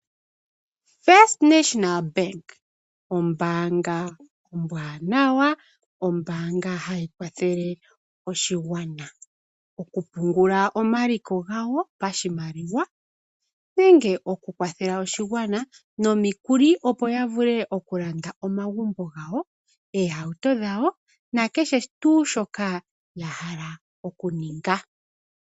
First National Bank, ombaanga ombwaanawa, ombaanga hayi kwathele oshigwana okupungula omaliko gawo pashimaliwa nenge okukwathela oshigwana nomikuli, opo ya vule okulanda omagumbo gawo, oohauto dhawo nakehe tuu shoka ya hala okuninga.